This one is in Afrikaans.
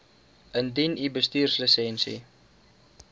indien u bestuurslisensie